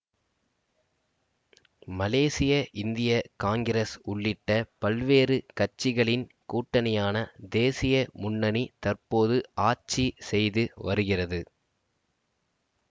மலேசிய இந்திய காங்கிரஸ் உள்ளிட்ட பல்வேறு கட்சிகளின் கூட்டணியான தேசிய முன்னணி தற்போது ஆட்சி செய்து வருகிறது